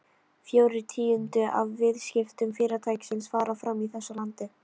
Fjórir tíundu af viðskiptum Fyrirtækisins fara fram í þessu landi.